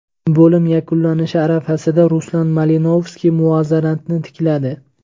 Bo‘lim yakunlanishi arafasida Ruslan Malinovskiy muvozanatni tikladi.